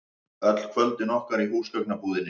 Öll kvöldin okkar í húsgagnabúðinni.